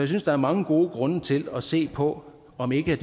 synes der er mange gode grunde til at se på om ikke